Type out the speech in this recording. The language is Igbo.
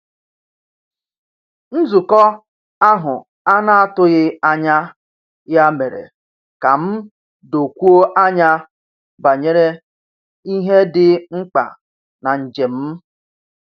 Nzukọ ahụ a na-atụghị anya ya mere ka m dokwuo anya banyere ihe dị mkpa na njem m.